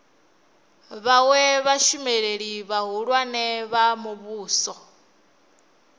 vhawe vhashumeli vhahulwane vha muvhuso